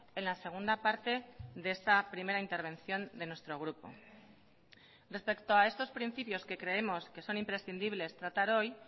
en la segunda parte de esta primera intervención de nuestro grupo respecto a estos principios que creemos que son imprescindibles tratar hoy